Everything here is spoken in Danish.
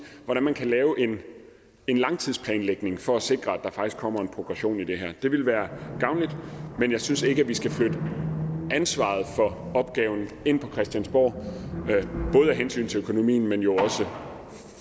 hvordan man kan lave en langtidsplanlægning for at sikre at der faktisk kommer en progression i det her det ville være gavnligt men jeg synes ikke at vi skal flytte ansvaret for opgaven ind på christiansborg både af hensyn til økonomien men jo også